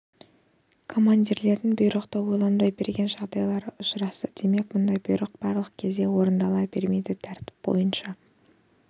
командирлердің бұйрықты ойланбай берген жағдайлары ұшырасты демек мұндай бұйрық барлық кезде орындала бермейді тәртіп бойынша